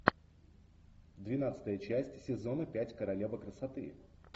двенадцатая часть сезона пять королева красоты